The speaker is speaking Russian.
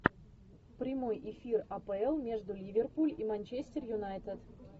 прямой эфир апл между ливерпуль и манчестер юнайтед